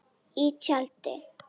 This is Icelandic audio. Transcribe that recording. Í tjaldi.